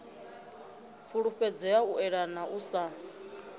fhulufhedzea u eḓana u sa